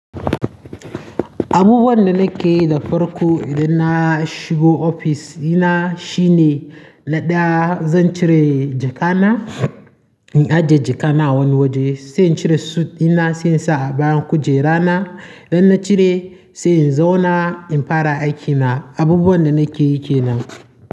Abubuwan da nake da farko idan na shigo ofis ina shine na ɗaya zan cire jaka na, in ajiye jaka na wani waje, sai in cire sut dina, sai in sa abayan kujera na. Idan na cire sai in zauna in fara aikina. Abubuwan da nake yi kenan.